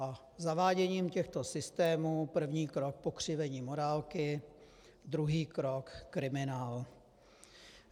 A zaváděním těchto systémů, první krok - pokřivení morálky, druhý krok - kriminál.